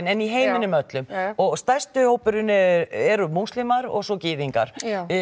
en í heiminum öllum og stærsti hópurinn eru múslimar og svo gyðingar